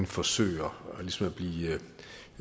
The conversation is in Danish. forsøger